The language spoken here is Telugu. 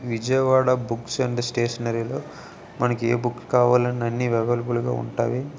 విజయవాడ బుక్స్ అండ్ స్టేషనరీ లో మనకి ఏ బుక్ కావాలన్నా అన్ని అవైలబుల్ గా ఉంటాయి.